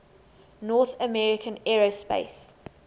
north american aerospace